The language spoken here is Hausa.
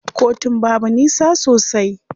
Kotun babu nisa sosai.